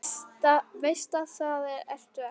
Veist að það ertu ekki.